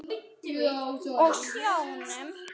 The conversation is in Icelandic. Og sjónum.